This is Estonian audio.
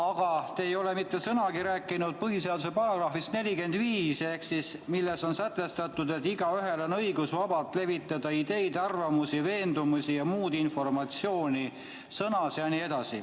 Aga te ei ole mitte sõnagi rääkinud põhiseaduse §-st 45, milles on sätestatud, et igaühel on õigus vabalt levitada ideid, arvamusi, veendumusi ja muud informatsiooni.